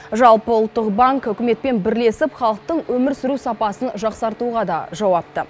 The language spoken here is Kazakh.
жалпы ұлттық банк үкіметпен бірлесіп халықтың өмір сүру сапасын жақсартуға да жауапты